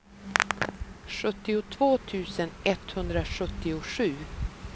sjuttiotvå tusen etthundrasjuttiosju